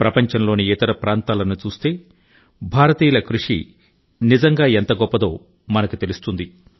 ప్రపంచంలోని ఇతర ప్రాంతాలను చూస్తే భారతీయుల కృషి నిజంగా ఎంత గొప్పదో మనకు తెలుస్తుంది